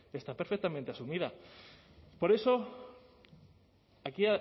está perfectamente asumida por eso aquí